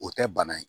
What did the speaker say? O tɛ bana ye